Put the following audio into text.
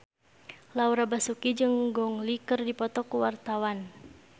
Laura Basuki jeung Gong Li keur dipoto ku wartawan